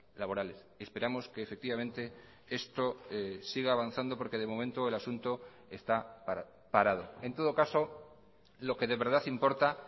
laborales esperamos que efectivamente esto siga avanzando porque de momento el asunto está parado en todo caso lo que de verdad importa